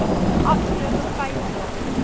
afgelope vyf jaar